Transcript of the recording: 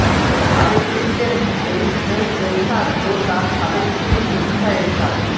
সাবেক president H M Ershad ও তার সাবেক স্ত্রী বিদিশা এরশাদ